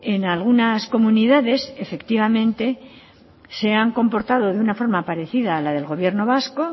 en algunas comunidades efectivamente se han comportado de una forma parecida a la del gobierno vasco